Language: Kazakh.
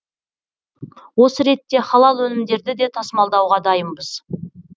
осы ретте халал өнімдерді де тасымалдауға дайынбыз